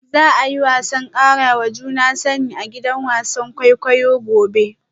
Za a yi taron karawa juna sani a gidan wasan kwaikwayo gobe